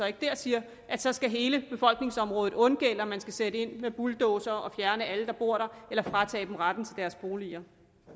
ikke der siger at så skal hele befolkningsområdet undgælde og man skal sætte ind med bulldozere og fjerne alle der bor der eller fratage dem retten til deres boliger